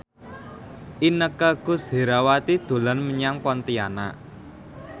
Inneke Koesherawati dolan menyang Pontianak